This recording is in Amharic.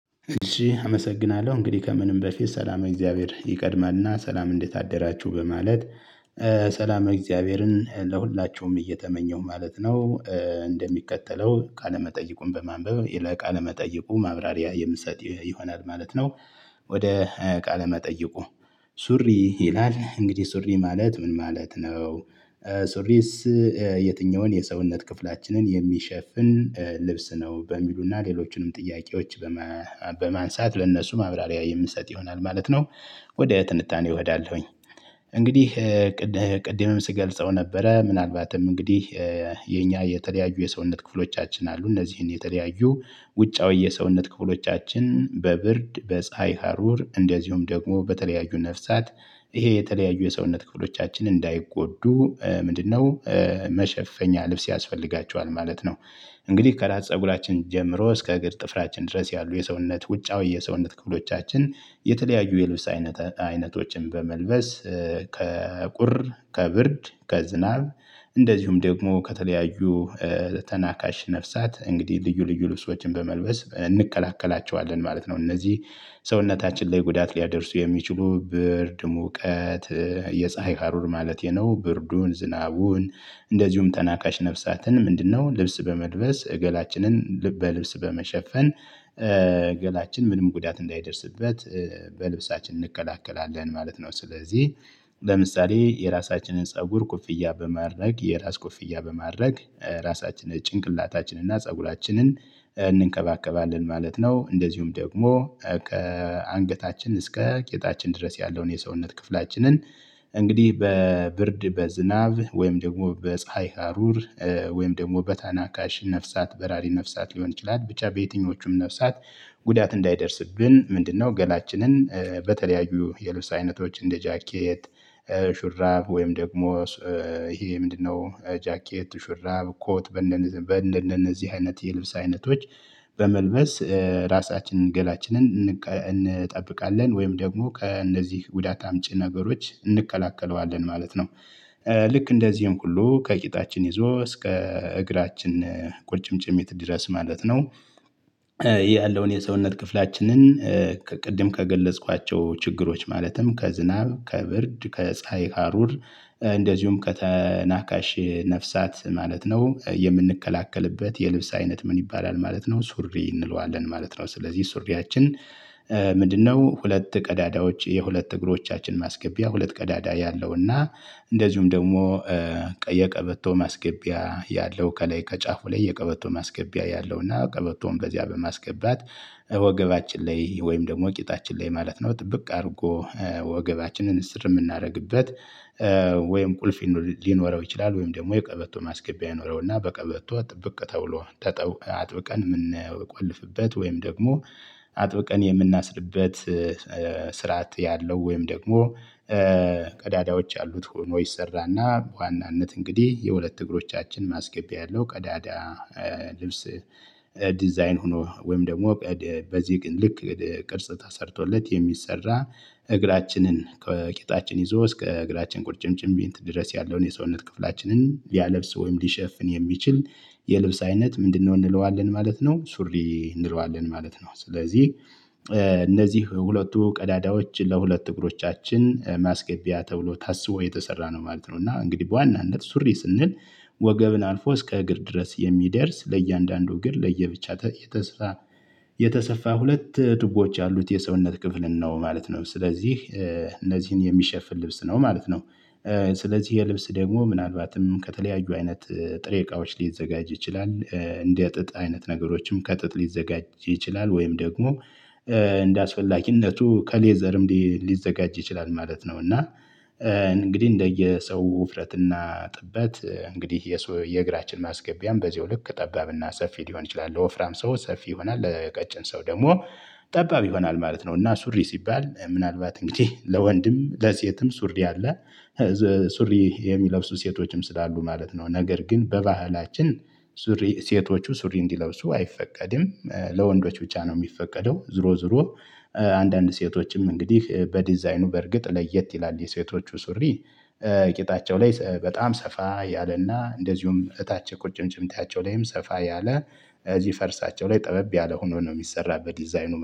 እሺ አመሰግናለሁ እንግዲህ ከምንም በፊት ሰላም የእግዚአብሔር ይቀድማልና ሰላም እንዴት አደራችሁ በማለት ሰላም እግዚአብሔርን ለሁላችሁም እየተመኘው ማለት ነው። እንደሚከተለው ቃለመጠይቁን በማንበብ ለቃለ መጠይቁ ማብራሪያ የምትሰጥ ይሆናል ማለት ነው። ወደ ቃለ መጠይቁ። ሱሪ ይላል እንግዲህ ሱሪ ማለት ምን ማለት ነው? ሱሪስ? የትኛውን የሰውነት ክፍላችንን የሚሸፍን ልብስ ነው በሚሉና ሌሎችንም ጥያቄዎች። በማንሳት ለእነሱ ማብራሪያ የምንሰጥ ይሆናል ማለት ነው። ወደ ትንታኔ እሄዳለሁኝ። እንግዲህ ቅድምም ስገልጸው ነበረ ምናልባትም እንግዲህ የኛ የተለያዩ የሰውነት ክፍሎቻችን አሉ እነዚህን የተለያዩ ውጫዊ የሰውነት ክፍሎቻችን በብርድ በፀሀይ ሀሩር እንደዚሁም ደግሞ በተለያዩ ነፍሳት። ይሄ የተለያዩ የሰውነት ክፍሎቻችን እንዳይጎዱ ምንድነው? መሸፈኛ ልብስ ያስፈልጋቸዋል ማለት ነው። እንግዲህ ከራስ ፀጉራችን ጀምሮ እስከ እግር ጥፍራችን ድረስ ያሉ የሰውነት ውጫዊ የሰውነት ክፍሎቻችን የተለያዩ የልብስ አይነት አይነቶችን በመልበስ ከቁር ከብርድ ከዝናብ እንደዚሁም ደግሞ ከተለያዩ ተናካሽ ነፍሳት እንግዲህ ልዩ ልዩ ልብሶችን በመልበስ እንከላከላቸዋለን። ማለት ነው እነዚህ ሰውነታችን ላይ ጉዳት ሊያደርሱ የሚችሉ ብርድ ሙቀት የፀሀይ ሀሩር ማለቴ ነው ብርዱን ዝናቡን። እንደዚሁም ተናካሽ ነፍሳትን ምንድነው ልብስ በመልበስ ገላችንን በልብስ በመሸፈን። ገላችን ምንም ጉዳት እንዳይደርስበት በልብሳችን እንከላከላለን ማለት ነው። ስለዚህ ለምሳሌ የራሳችንን ፀጉር ኮፍያ በማድረግ የራስ ኮፍያ በማድረግ ራሳችንን ጭንቅላታችንን እና ፀጉራችንን እንንከባከባለን ማለት ነው። እንደዚሁም ደግሞ ከአንገታችን እስከ ጌጣችን ድረስ ያለውን የሰውነት ክፍላችንን እንግዲህ በብርድ በዝናብ ወይም ደግሞ በፀሀይ ሀሩር ወይም ደግሞ በተናካሽ ነፍሳት በራሪ ነፍሳት ሊሆን ይችላል ብቻ በየትኞቹም ነፍሳት። ጉዳት እንዳይደርስብን ምንድነው? ገላችንን በተለያዩ የልብስ አይነቶች እንደ ጃኬት ሹራብ ወይም ደግሞ ይሄ ምንድነው ጃከት ሹራብ ኮት በእንደነዚህ አይነት የልብስ አይነቶች በመልበስ የራሳችን ገላችን እንጠብቃለን ወይም ደግሞ ከነዚህ ጉዳት አምጪ ነገሮች እንከላከላለን ማለት ነው። ልክ እንደዚህም ሁሉ ከቂጣችን ይዞ እስከ እግራችን ቁርጭምጭሚት ድረስ ማለት ነው። ያለውን የሰውነት ክፍላችንን። ከቅድም ከገለጽኳቸው ችግሮች ማለትም ከዝናብ ከብርድ ከፀሀይ ሀሩር እንደዚሁም ከተናካሽ ነፍሳት ማለት ነው። የምንከላከልበት የልብስ አይነት ምን ይባላል? ማለት ነው ሱሪ እንለዋለን ማለት ነው። ስለዚህ ሱሪያችን ምንድነው ሁለት ቀዳዳዎች የሁለት እግሮቻችን ማስገቢያ ሁለት ቀዳዳ ያለውና። እንደዚሁም ደግሞ የቀበቶ ማስገቢያ ያለው ከላይ ከጫፉ ላይ የቀበቶ ማስገቢያ ያለው እና ቀበቶም በዚያ በማስገባት ወገባችን ላይ ወይም ደግሞ ቂጣችን ላይ ማለት ነው ጥብቅ አድርጎ ወገባችንን እስር የምናደርግበት። ወይም ቁልፍ ሊኖረው ይችላል ወይም ደግሞ የቀበቶ ማስገቢያ ይኖረው እና በቀበቶ ጥብቅ ተብሎ አጥብቀን የምንቆልፍበት ወይም ደግሞ አጥብቀን የምናስርበት። ስርዓት ያለው ወይም ደግሞ ቀዳዳዎች አሉት ሆኖ ይሰራና በዋናነት እንግዲህ የሁለት እግሮቻችን ማስገቢያ ያለው ቀዳዳ። ልብስ ዲዛይን ሆኖ ወይም ደግሞ በዚህ ግን ልክ ቅርጽ ተሰርቶለት የሚሰራ። እግራችንን ከቄጣችን ይዞ እስከ እግራችን ቁጭምጭም ቢንት ድረስ ያለውን የሰውነት ክፍላችንን ያለብስ ወይም ሊሸፍን የሚችል የልብስ አይነት ምንድነው? እንለዋለን ማለት ነው ሱሪ እንለዋለን ማለት ነው። ስለዚህ እነዚህ ሁለቱ ቀዳዳዎች ለሁለት እግሮቻችን ማስገቢያ ተብሎ ታስቦ የተሰራ ነው ማለት ነው። እና እንግዲህ በዋናነት ሱሪ ስንል ወገብን አልፎ እስከ እግር ድረስ የሚደርስ ለእያንዳንዱ እግር ለየብቻ። የተሰፋ ሁለት ቱቦዎች ያሉት የሰውነት ክፍልን ነው ማለት ነው። ስለዚህ እነዚህን የሚሸፍን ልብስ ነው ማለት ነው። ስለዚህ የልብስ ደግሞ ምናልባትም ከተለያዩ አይነት ጥሬ እቃዎች ሊዘጋጅ ይችላል እንደ ጥጥ አይነት ነገሮችም ከጥጥ ሊዘጋጅ ይችላል ወይም ደግሞ እንደአስፈላጊነቱ ከሌዘርም ሊዘጋጅ ይችላል ማለት ነው። እና እንግዲህ እንደየሰው ውፍረትና ጥበት እንግዲህ የሰው የእግራችን ማስገቢያም በዚሁ ልክ ጠባብና ሰፊ ሊሆን ይችላል ለወፍራም ሰው ሰፊ ይሆናል ለቀጭን ሰው ደግሞ ጠባብ ይሆናል ማለት ነው። እና ሱሪ ሲባል ምናልባት እንግዲህ ለወንድም ለሴትም ሱሪ አለ። ሱሪ የሚለብሱ ሴቶችም ስላሉ ማለት ነው። ነገር ግን በባህላችን ሱሪ ሴቶቹ ሱሪ እንዲለብሱ አይፈቀድም ለወንዶች ብቻ ነው የሚፈቀደው ዞሮ ዞሮ አንዳንድ ሴቶችም እንግዲህ በዲዛይኑ በእርግጥ ለየት ይላል የሴቶቹ ሱሪ። ቂጣቸው ላይ በጣም ሰፋ ያለና እንደዚሁም እታቸው ቁጭምጭሚታቸው ላይም ሰፋ ያለ እዚህ ፈርሳቸው ላይ ጠበብ ያለ ሆኖ ነው የሚሰራ በዲዛይኑ